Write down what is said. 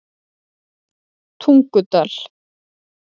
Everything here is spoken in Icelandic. Tungudal